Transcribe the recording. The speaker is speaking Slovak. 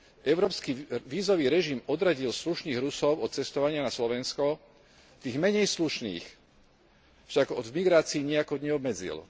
Európsky vízový režim odradil slušných Rusov od cestovania na Slovensko, tých menej slušných však od migrácie nijako neobmedzil.